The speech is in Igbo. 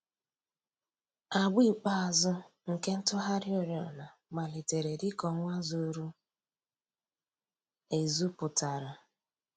Àgbà ikpeazụ̀ nke ntùghàrị̀ òrìọ̀nà màlítèrè dị̀ka ọnwà zùrù èzù pụtara.